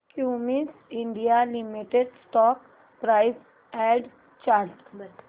Cummins India limited stock price and chart